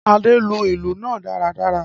Ade lu ilu naa daradara.